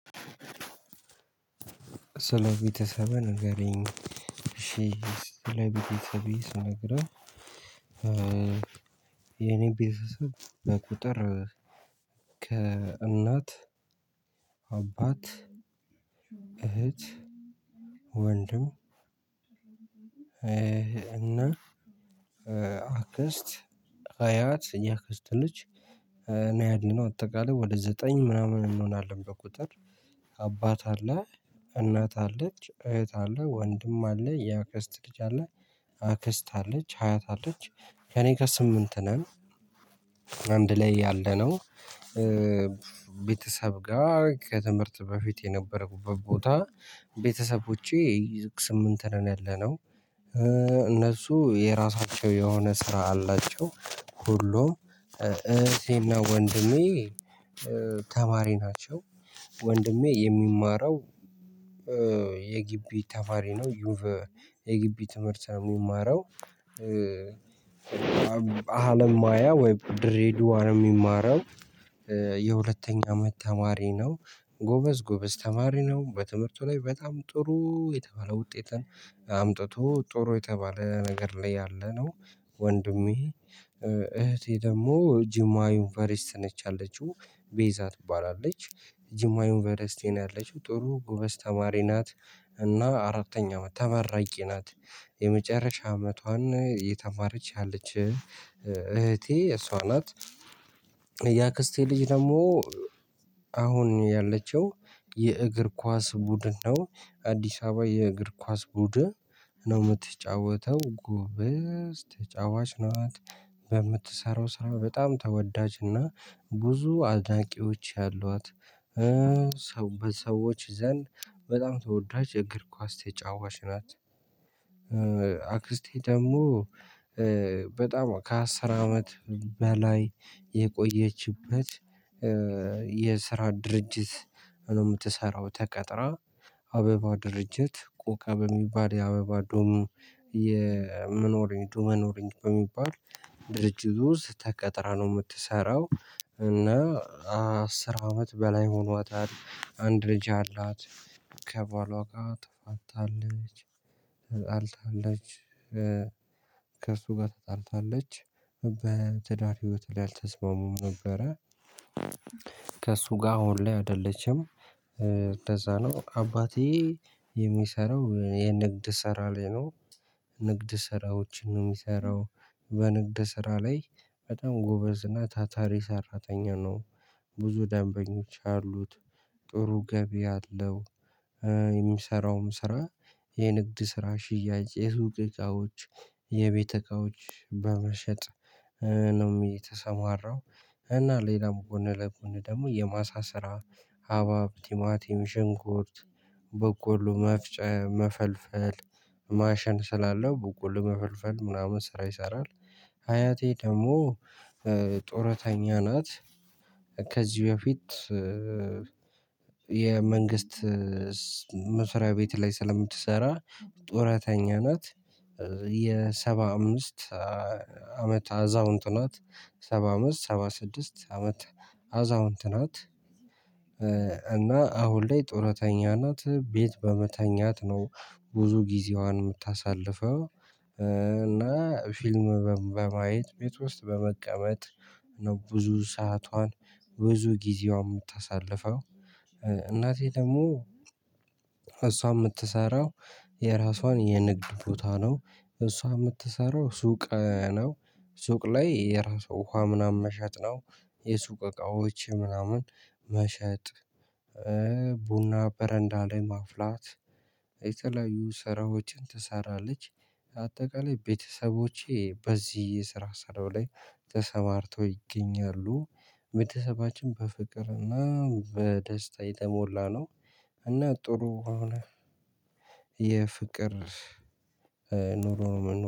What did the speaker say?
ስለ ቤተሰብህ ንገረኝ? እሺ ስለ ቤተሰቤ ስነገርህ። የኔ ቤተሰብ በቁጥር ከእናት አባት እህት ወንድም እና አክስት አያት የአክስት ልጅ ነው ያለነው አጠቃላይ ወደ ዘጠኝ ምናምን እንሆናለን። በቁጥር አባት አለ እናት አለች እህት አለ ወንድም አለ ያክስት ልጅ አለ አክስት አለች ሀያት አለች ከእኔጋ ስምንት ነን። አንድ ላይ ያለነው ቤተሰብ ጋር ከትምህርት በፊት የነበረው ቦታ ቤተሰቦቼ ስምንት ነው ያለነው። እነሱ የራሳቸው የሆነ ስራ አላቸው ሁሉም እህቴ እና ወንድሜ ተማሪ ናቸው። ወንድሜ የሚማረው የጊቢ ተማሪ ነው ዩቭ የጊቢ ትምህርት ነው የሚማረው። አለም ማያ ወይም ድሬደዋ ነው የሚማረው የሁለተኛ አመት ተማሪ ነው። ጎበዝ ጎበዝ ተማሪ ነው በትምህርቱ ላይ በጣም ጥሩ የተባለ ውጤትን አምጥቶ ጥሩ የተባለ ነገር ላይ ያለ ነው። ወንድሜ እህቴ ደግሞ ጅማ ዩንቨርስቲ ነች ያለችው ቤዛ ትባላለች። ጅማ ዩንቨርስቲ ነው ያለችው ጥሩ ጎበዝ ተማሪ ናት። እና አራተኛ አመት ተመራቂ ናት። የመጨረሻ አመቷን እየተማረች ያለች እህቴ እሷ ናት። ያክስቴ ልጅ ደግሞ አሁን ያለችው የእግር ኳስ ቡድን ነው አዲስ አበባ የእግር ኳስ ቡድን ነው የምትጫወተው ጎበዝ ተጫዋች ናት። በምትሰራው ስራ በጣም ተወዳጅና ብዙ አድናቂዎች ያሏት። በሰዎች ዘንድ በጣም ተወዳጅ እግር ኳስ ተጫዋች ናት። አክስቴ ደግሞ በጣም ከአስር አመት በላይ የቆየችበት የስራ ድርጅት ነው የምትሰራው ተቀጥራ አበባ ድርጅት ቆካ በሚባል የአበባ ዶሙ የመኖር ዶመኖርኝ በሚባል ድርጅቱ ውስጥ ተቀጥራ ነው የምትሰራው እና አስር አመት በላይ ሆኗታል። አንድ ልጅ አላት። ከባሏ ጋር ተጣልታለች። ተጣልታለች ከእርሱ ጋር ተጣልታለች በትዳር ህይወት ላይ አልተስማሙም ነበረ። ከእርሱ ጋር አሁን ላይ አይደለችም። እንደዛ ነው አባቴ የሚሰራው የንግድ ስራ ላይ ነው። ንግድ ስራዎችን ነው የሚሰራው በንግድ ስራ ላይ በጣም ጎበዝ እና ታታሪ ሰራተኛ ነው። ብዙ ደንበኞች አሉት። ጥሩ ገቢ አለው። የሚሰራውም ስራ የንግድ ስራ ሽያጭ የሱቅ እቃዎች የቤት እቃዎች በመሸጥ ነው የተሰማራው። እና ሌላም ጎን ለጎን ደግሞ የማሳ ስራ ሀባብ ቲማቲም ሽንኩርት በቆሎ መፍጨ መፈልፈል ማሽን ስላለው በቆሎ መፈልፈል ምናምን ስራ ይሰራል። አያቴ ደግሞ ጡረተኛ ናት። ከዚህ በፊት የመንግስት መስሪያ ቤት ላይ ስለምትሰራ ጡረተኛ ናት። የሰባ አምስት አመት አዛውንት ናት ሰባ አምስት ሰባ ስድስት አመት አዛውንት ናት። እና አሁን ላይ ጡረተኛ ናት ቤት በመተኛት ነው ብዙ ጊዜዋን የምታሳልፈው። እና ፊልም በማየት ቤት ውስጥ በመቀመጥ ነው ብዙ ሰዓቷን ብዙ ጊዜዋን የምታሳልፈው። እናቴ ደግሞ እሷ የምትሰራው የራሷን የንግድ ቦታ ነው እሷ የምትሰራው ሱቅ ነው። ሱቅ ላይ የራሷ ውሃ ምናምን መሸጥ ነው። የሱቅ እቃዎች ምናምን መሸጥ ቡና በረንዳ ላይ ማፍላት የተለያዩ ስራዎችን ትሰራች። አጠቃላይ ቤተሰቦቼ በዚህ የስራ ስራው ላይ ተሰማርተው ይገኛሉ። ቤተሰባችን በፍቅርና በደስታ የተሞላ ነው። እና ጥሩ አሁን የፍቅር ኑሮ ነው